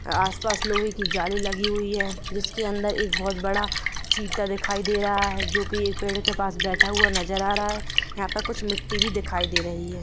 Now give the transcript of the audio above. आसपास लोहे की जाली लगी हुई है जिसके अंदर एक बहुत बड़ा चिट्टा दिखाय दे रहा है जो की एक पेड़ पास बेठा हुआ नजर आ रहा है यहाँ पे कुछ मिटटी भी दिखाई दे रही है।